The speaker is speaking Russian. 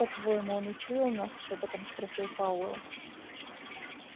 как по-твоему он учуял нас шёпотом спросил пауэлл